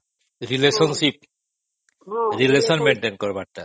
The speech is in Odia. relationship relation maintain କରିବାଟା